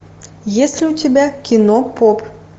есть ли у тебя кино поп